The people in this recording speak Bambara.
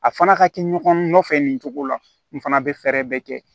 A fana ka kɛ ɲɔgɔn nɔfɛ nin cogo la nin fana bɛ fɛɛrɛ bɛɛ kɛ